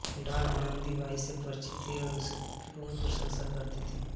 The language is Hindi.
डॉल आनंदीबाई से परिचित थी और उसकी बहुत प्रशंसा करती थी